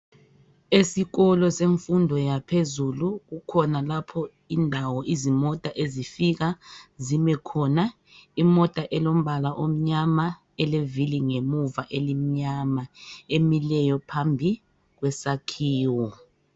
Esikolo semfundo yaphezulu kukhona lapho indawo izimota ezifika zime khona. Imota elombala omnyama eleviri ngemuva elimnyama emileyo phambi kwesakhiwo